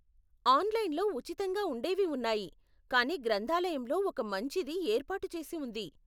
ఆన్లైన్లో ఉచితంగా ఉండేవి ఉన్నాయి, కానీ గ్రంధాలయంలో ఒక మంచిది ఏర్పాటు చేసి ఉంది.